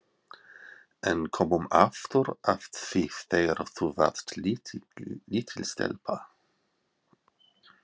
En komum aftur að því þegar þú varst lítil stelpa.